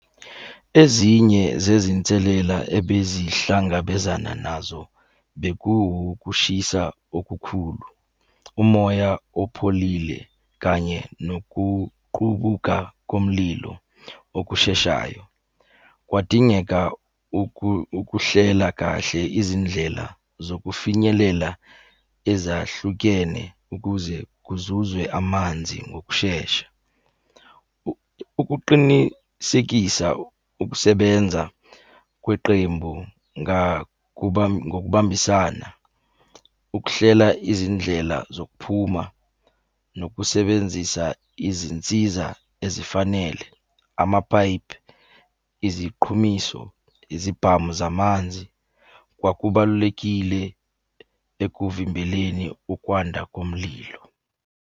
Ezinye zezinselela ebezihlangabezana nazo, beku ukushisa okukhulu, umoya opholile, kanye nokuqubuka komlilo okusheshayo. Kwadingeka ukuhlela kahle izindlela zokufinyelela ezahlukene ukuze kuzuzwe amanzi ngokushesha. Ukuqinisekisa ukusebenza kweqembu ngokubambisana, ukuhlela izindlela zokuphuma, nokusebenzisa izinsiza ezifanele. Amapayipi, iziqhumiso, izibhamu zamanzi, kwakubalulekile ekuvimbeleni ukwanda komlilo.